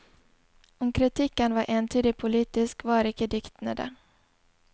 Om kritikken var entydig politisk, var ikke diktene det.